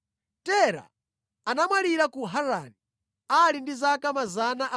Tera anamwalira ku Harani ali ndi zaka 205.